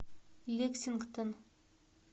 лексингтон